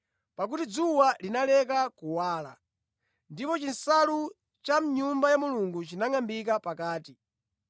pakuti dzuwa linaleka kuwala. Ndipo chinsalu cha mʼNyumba ya Mulungu chinangʼambika pakati.